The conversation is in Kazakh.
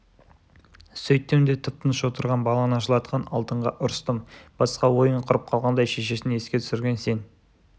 сөйттім де тып-тыныш отырған баланы жылатқан алтынға ұрыстым басқа ойын құрып қалғандай шешесін еске түсірген сен